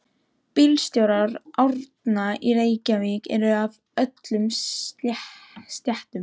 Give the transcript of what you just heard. Bílstjórar Árna í Reykjavík eru af öllum stéttum.